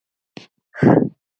Ég hef öðru að sinna.